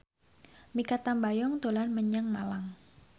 Mikha Tambayong dolan menyang Malang